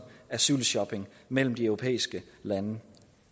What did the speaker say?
asylshopping mellem de europæiske lande